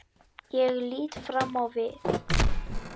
Ég lít fram á við.